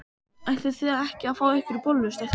Ætlið þið ekki að fá ykkur bollu, stelpur?